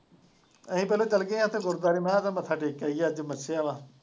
ਅਸੀਂ ਦੋਨੇ ਚੱਲ ਗਏ ਉੱਥੇ ਗੁਰਦੁਆਰੇ ਮੈਂ ਕਿਹਾ ਮੱਥਾ ਟੇਕ ਕੇ ਆਈਏ ਅੱਜ ਮੱਸਿਆ ਹੈ।